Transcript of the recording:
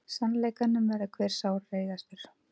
Sannleikanum verður hver sárreiðastur.